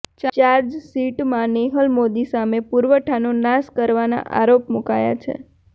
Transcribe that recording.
ચાર્જશીટમાં નેહલ મોદી સામે પુરાવાનો નાશ કરવાના આરોપ મુકાયા છે